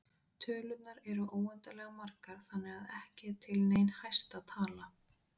Tölurnar eru óendanlega margar þannig að ekki er til nein hæsta tala.